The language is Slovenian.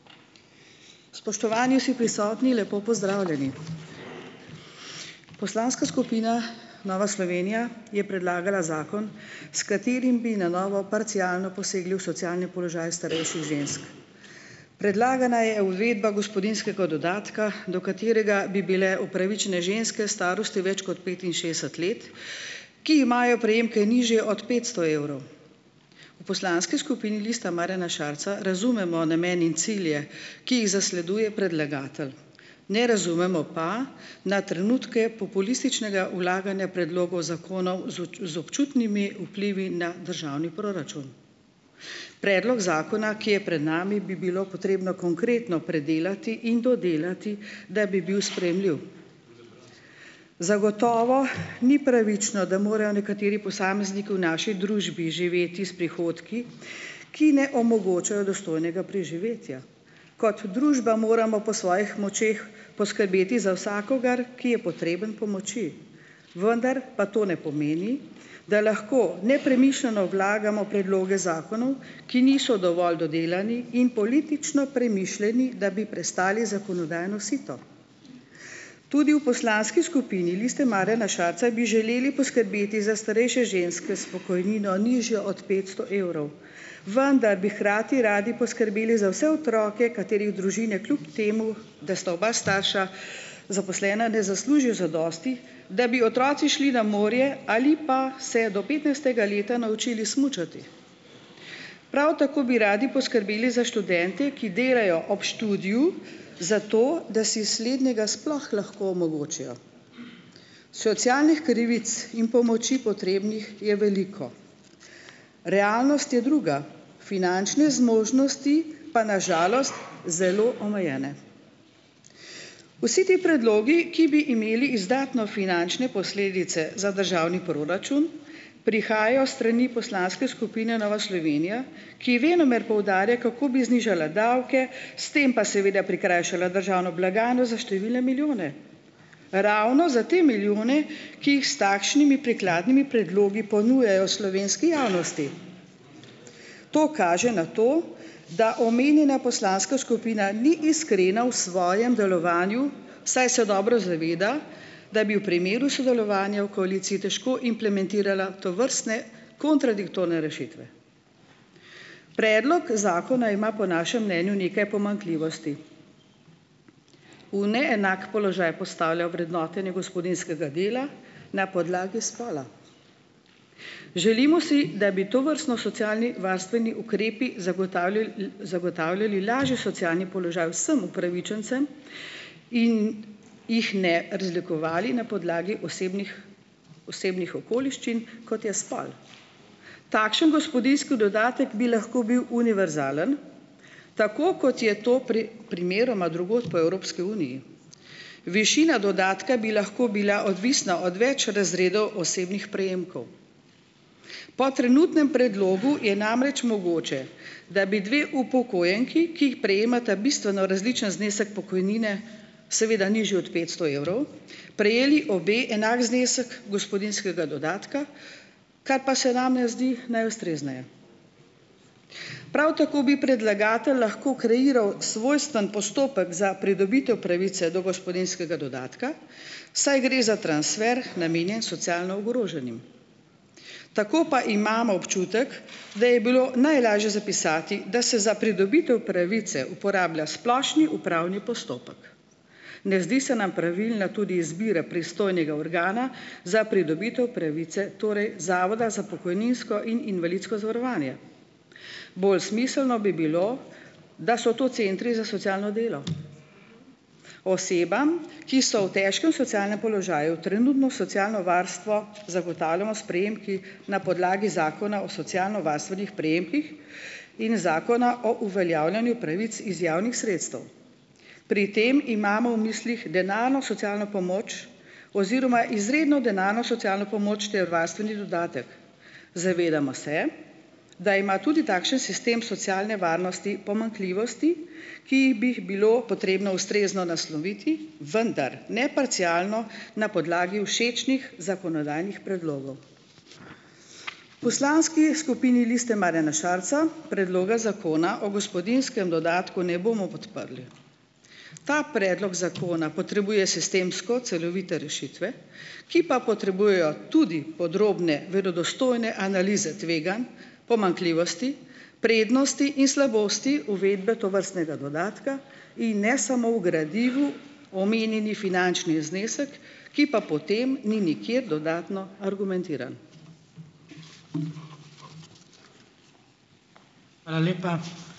Spoštovani vsi prisotni, lepo pozdravljeni! Poslanska skupina Nova Slovenija je predlagala zakon, s katerim bi na novo parcialno posegli v socialne položaje starejših žensk. Predlagana je uvedba gospodinjskega dodatka, do katerega bi bile upravičene ženske starosti več kot petinšestdeset let, ki imajo prejemke nižje od petsto evrov. V poslanski skupini Lista Marjana Šarca razumemo namene in cilje, ki jih zasleduje predlagatelj. Ne razumemo pa na trenutke populističnega vlaganja predlogov zakonov z z občutnimi vplivi na državni proračun. Predlog zakona, ki je pred nami, bi bilo potrebno konkretno predelati in dodelati, da bi bil sprejemljiv. Zagotovo ni pravično, da morajo nekateri posamezniki v naši družbi živeti s prihodki, ki ne omogočajo dostojnega preživetja. Kot družba moramo po svojih močeh poskrbeti za vsakogar, ki je potreben pomoči, vendar pa to ne pomeni, da lahko nepremišljeno vlagamo predloge zakonov, ki niso dovolj dodelani in politično premišljeni, da bi prestali zakonodajno sito. Tudi v poslanski skupini Liste Marjana Šarca bi želeli poskrbeti za starejše ženske s pokojnino, nižjo od petsto evrov, vendar bi hkrati radi poskrbeli za vse otroke, katerih družine kljub temu, da sta oba starša zaposlena, ne zaslužijo zadosti, da bi otroci šli na morje ali pa se do petnajstega leta naučili smučati. Prav tako bi radi poskrbeli za študente, ki delajo ob študiju, zato da si slednjega sploh lahko omogočijo. Socialnih krivic in pomoči potrebnih je veliko. Realnost je druga, finančne zmožnosti pa na žalost zelo omejene. Vsi ti predlogi, ki bi imeli izdatne finančne posledice za državni proračun, prihajajo s strani poslanske skupine Nova Slovenija, ki venomer poudarja, kako bi znižala davke, s tem pa seveda prikrajšala državno blagajno za številne milijone, ravno za te milijone, ki jih s takšnimi prikladnimi predlogi ponujajo slovenski javnosti. To kaže na to, da omenjena poslanska skupina ni iskrena v svojem delovanju, saj se dobro zaveda, da bi v primeru sodelovanja v koaliciji težko implementirala tovrstne kontradiktorne rešitve. Predlog zakona ima po našem mnenju nekaj pomanjkljivosti. V neenak položaj postavlja vrednotenje gospodinjskega dela na podlagi spola. Želimo si, da bi tovrstno socialni varstveni ukrepi zagotavljali, zagotavljali lažji socialni položaj vsem upravičencem in jih ne razlikovali na podlagi osebnih osebnih okoliščin, kot je spol. Takšen gospodinjski dodatek bi lahko bil univerzalen, tako kot je to pri primeroma drugod po Evropski uniji. Višina dodatka bi lahko bila odvisna od več razredov osebnih prejemkov. Po trenutnem predlogu je namreč mogoče, da bi dve upokojenki, ki jih prejemata bistveno različen znesek pokojnine, seveda nižji od petsto evrov, prejeli obe enak znesek gospodinjskega dodatka, ka pa se nam ne zdi najustrezneje. Prav tako bi predlagatelj lahko kreiral svojstven postopek za pridobitev pravice do gospodinjskega dodatka, saj gre za transfer, namenjen socialno ogroženim. Tako pa imam občutek, da je bilo najlažje zapisati, da se za pridobitev pravice uporablja splošni upravni postopek. Ne zdi se nam pravilna tudi izbira pristojnega organa za pridobitev pravice, torej Zavoda za pokojninsko in invalidsko zavarovanje. Bolj smiselno bi bilo, da so to centri za socialno delo. Osebam, ki so v težkem socialnem položaju, trenutno socialno varstvo zagotavljamo s prejemki na podlagi Zakona o socialnovarstvenih prejemkih in Zakona o uveljavljanju pravic iz javnih sredstev. Pri tem imamo v mislih denarno socialno pomoč oziroma izredno denarno socialno pomoč ter varstveni dodatek. Zavedamo se, da ima tudi takšen sistem socialne varnosti pomanjkljivosti, ki jih bi, jih bilo potrebno ustrezno nasloviti, vendar ne parcialno na podlagi všečnih zakonodajnih predlogov. V poslanski skupini Liste Marjana Šarca Predloga zakona o gospodinjskem dodatku ne bomo podprli. Ta predlog zakona potrebuje sistemsko celovite rešitve, ki pa potrebujejo tudi podrobne verodostojne analize tveganj, pomanjkljivosti, prednosti in slabosti uvedbe tovrstnega dodatka in ne samo v gradivu omenjeni finančni znesek, ki pa potem ni nikjer dodatno argumentiran.